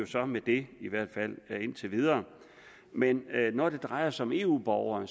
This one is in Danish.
så med det i hvert fald indtil videre men når det drejer sig om eu borgere